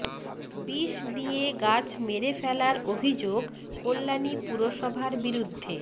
বিষ দিয়ে গাছ মেরে ফেলার অভিযোগ কল্যাণী পুরসভার বিরুদ্ধে